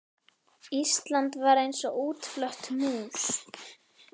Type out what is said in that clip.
Ísland var eins og útflött mús.